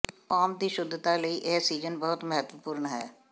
farm ਦੀ ਸ਼ੁੱਧਤਾ ਲਈ ਇਹ ਸੀਜ਼ਨ ਬਹੁਤ ਮਹੱਤਵਪੂਰਨ ਹੈ